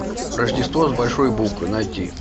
рождество с большой буквы найти